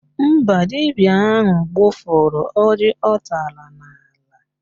Mba, dibịa ahụ gbụfụrụ ọjị ọ tara n'ala